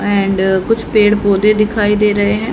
And कुछ पेड़ पौधे दिखाई दे रहे है।